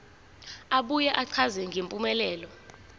abuye achaze ngempumelelo